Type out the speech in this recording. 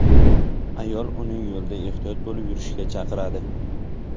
Ayol uni yo‘lda ehtiyot bo‘lib yurishga chaqiradi.